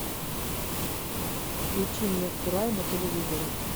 включи мне курай на телевизоре